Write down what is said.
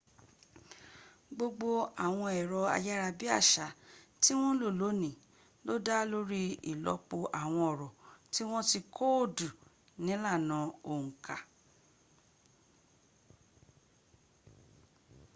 gbogbo àwọn ẹ̀rọ ayára bí àṣá tí wọ́n ń lò lónìí ló dá lórí ìlọ́pọ̀ àwọn ọ̀rọ̀ tí wọ́n ti kóòdù nílànà òǹkà